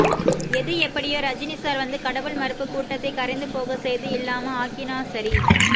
எது எப்படியோ ரஜினிசார் வந்து கடவுள் மறுப்பு கூடட த்தை கரைந்து போக செய்து இல்லாம ஆக்கிநா சரி